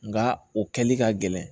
Nga o kɛli ka gɛlɛn